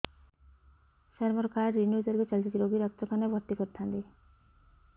ସାର ମୋର card renew ତାରିଖ ଚାଲି ଯାଇଛି ରୋଗୀକୁ ଡାକ୍ତରଖାନା ରେ ଭର୍ତି କରିଥାନ୍ତି